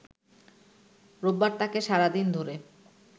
রোববার তাকে সারাদিন ধরে